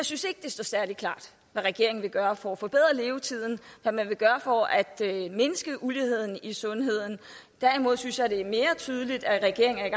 synes at det står særlig klart hvad regeringen vil gøre for at forbedre levetiden hvad man vil gøre for at mindske uligheden i sundhed derimod synes jeg det er mere tydeligt at regeringen